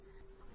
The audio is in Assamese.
এলটিডি